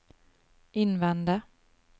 innvende